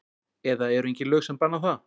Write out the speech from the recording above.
Eða eru engin lög sem banna það?